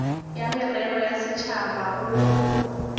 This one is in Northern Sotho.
ya merero ya setšhaba go